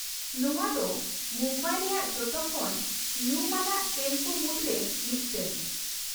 ᱱᱚᱶᱟ ᱫᱚ ᱢᱩᱢᱵᱟᱭ ᱨᱮᱭᱟᱜ ᱡᱚᱛᱚ ᱠᱷᱚᱱ ᱧᱩᱢᱟᱱᱟᱜ ᱴᱨᱮᱱ ᱠᱚ ᱢᱩᱫ ᱨᱮ ᱢᱤᱫᱴᱟᱝ ᱾